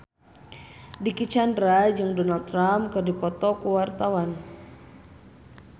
Dicky Chandra jeung Donald Trump keur dipoto ku wartawan